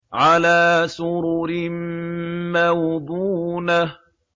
عَلَىٰ سُرُرٍ مَّوْضُونَةٍ